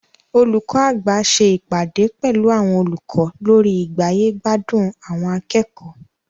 Olùkọ́ àgbà ṣe ìpàdé pẹlu àwọn olùkọ́ lórí igbáyé-gbádùn àwọn akẹ́kọ̀ọ́.